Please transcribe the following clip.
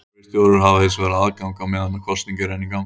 Kerfisstjórar hafa hins vegar aðgang á meðan kosning er enn í gangi.